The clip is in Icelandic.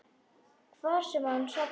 Hvar sem hann sofnar.